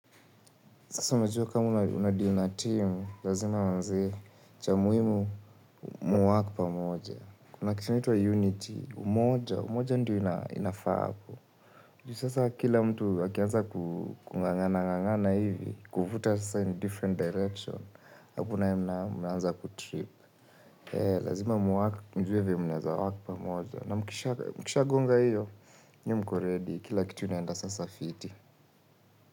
Sasa unajua kama unadeal na team, lazima manzee cha muhimu muwork pamoja. Kuna kitu inaitwa unity, umoja, umoja ndio inafaa hapo. Juu. Sasa kila mtu akianza kung'ang'ana ng'ang'ana hivi, kuvuta sasa in different direction, hapo nayo mnaanza kutrip. Lazima muwork mjuwe mnaeza work pamoja na mkisha gonga hiyo, nyi mko ready kila kitu inaenda sasa fiti.